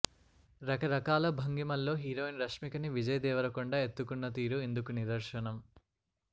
రకరకాల భంగిమల్లో హీరోయిన్ రష్మిక ని విజయ్ దేవరకొండ ఎత్తుకున్న తీరు ఇందుకు నిదర్శనం